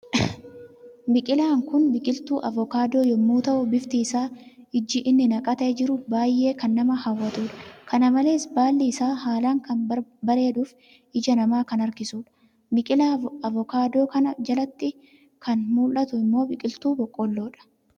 Biqilaan kun biqiltu avookado yemmu tahuu, bifti isaf, ijii inni naqate jiru, baay'ee kan nama hawwatuudha. Kana malees baalli isaa, haalan kan bareeduf ijaa nama kan harkisuudha. Biqilaa avookadoo kana jalatti kan mul'atu ammo, biqiltu boqollodha.